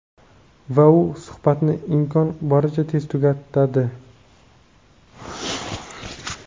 Va u suhbatni imkon boricha tez tugatadi.